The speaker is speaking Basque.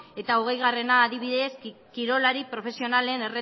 eta hogeigarrena porposamena adibidez kirolari profesionalen